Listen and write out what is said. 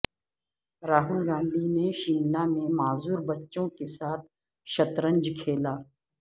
راہل گاندھی نے شملہ میں معذوربچوں کے ساتھ شطرنج کھیلا